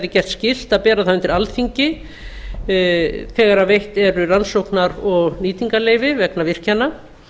gert skylt að bera það undir alþingi þegar veitt eru rannsóknar og nýtingarleyfi vegna virkjana